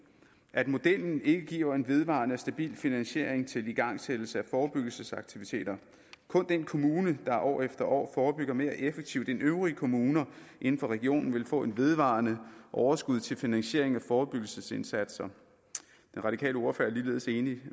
at modellen ikke giver en vedvarende og stabil finansiering til igangsættelse af forebyggelsesaktiviteter kun den kommune der år efter år forebygger mere effektivt end øvrige kommuner inden for regionen vil få et vedvarende overskud til finansiering af forebyggelsesindsatser den radikale ordfører er ligeledes enig